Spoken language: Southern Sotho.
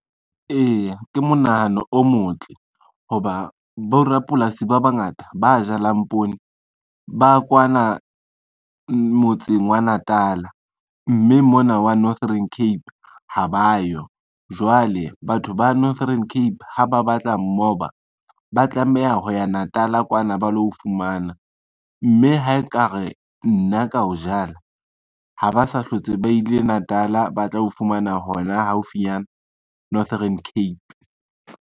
Eya ke monahano o motle, ho ba borapolasi ba bangata ba jalang poone ba kwana motseng wa Natal-a, mme mona wa Northern Cape ha ba yo. Jwale batho ba Northern Cape ha ba batla mmoba, ba tlameha ho ya Natal-a kwana ba lo o fumana, mme ha e ka re nna ka o jala, ha ba sa hlotse ba ile Natal-a batla o fumana hona haufinyana Northern Cape.